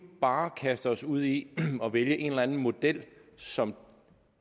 bare kaster os ud i at vælge en eller anden model som